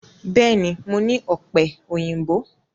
Bẹ́ẹ̀ ni, mo ní ọ̀pẹ̀-òyìnbó.